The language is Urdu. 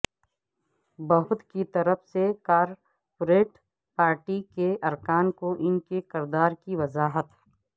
بہت کی طرف سے کارپوریٹ پارٹی کے ارکان کو ان کے کردار کی وضاحت